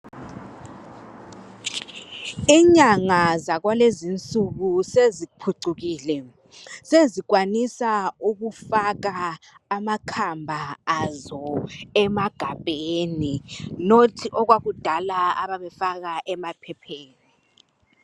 Inyanga zakulezinsuku seziphucukile sezikwanisa ukufaka amakhamba azo emagabheni hatshi okwakudala ababefaka emaphepheni.